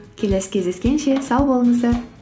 кеселі кездескенше сау болыңыздар